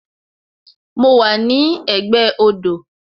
Mo wà ní ẹ̀gbẹ́ odò